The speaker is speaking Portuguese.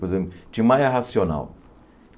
Por exemplo, Tim Maia Racional.